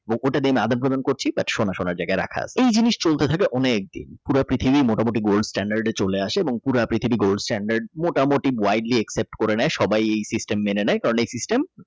ওটা দিয়ে আদান-প্রদান করছি বাট সোনা সোনা জায়গায় রাখা আছে এই জিনিস চলতে থাকে অনেকদিন পুরা পৃথিবী মোটামুটি Gold stand চলে আসে এবং পুরা পৃথিবী Gold stand মোটামুটি Grideli Except করে নাই সবাই এ System মেনে নেয় কারণ এই। System